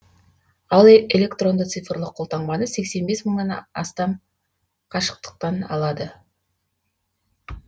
ал электронды цифрлық колтаңбаны сексен бес мыңнан астам қашықтан алды